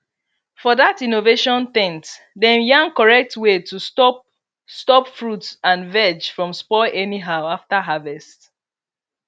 for that innovation ten t dem yarn correct way to stop stop fruit and veg from spoil anyhow after harvest